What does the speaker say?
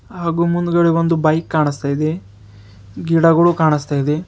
ಹಾಗೂ ಮುಂದ್ಗಡೆ ಒಂದು ಬೈಕ್ ಕಾಣಿಸ್ತಾ ಇದೆ ಗಿಡಗಳು ಕಾಣಿಸ್ತಾ ಇದೆ.